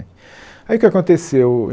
Aí o que que aconteceu?